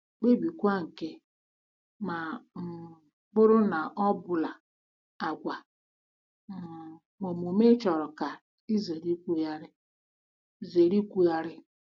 Kpebiekwa nke, ma ọ um bụrụ na ọ bụla, àgwà um na omume ị chọrọ ka ị zere ikwugharị zere ikwugharị.